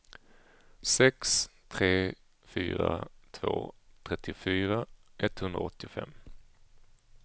sex tre fyra två trettiofyra etthundraåttiofem